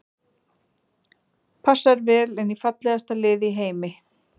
Passar vel inn í fallegasta lið í heimi.